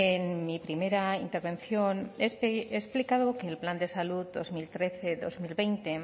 en mi primera intervención he explicado que el plan de salud dos mil trece dos mil veinte